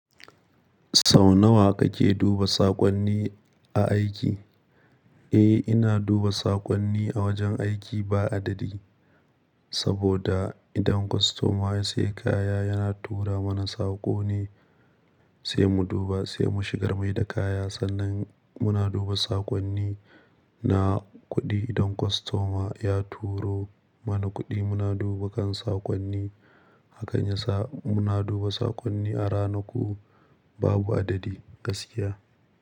Sau nawa kake duba saƙonni a aiki? Eh, ina duba saƙonni a wajen aiki ba adadi, saboda idan kwastoma ya sayi kaya yana tura mana saƙo ne, sai mu duba sai mu shigar mai da kaya. Sannan muna duba saƙonni na kuɗi idan kwastoma ya turo mana kuɗi muna duba kan saƙonni. Hakan yasa muna duba saƙonni a ranaku babu adadi, gaskiya.